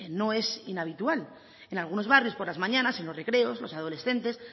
no es inhabitual en algunos barrios por las mañanas en los recreos los adolescentes